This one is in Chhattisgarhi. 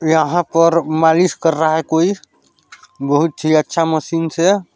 यहाँ पर मालिश कर रहा हैं कोई बोहोत ही अच्छा मशीन से--